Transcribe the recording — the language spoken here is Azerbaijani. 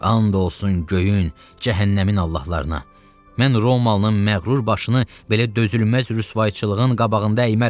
And olsun göyün, cəhənnəmin Allahlarına, mən Romalının məğrur başını belə dözülməz rüsvayçılığın qabağında əymərəm.